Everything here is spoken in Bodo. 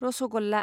रसगल्ला